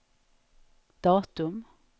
datum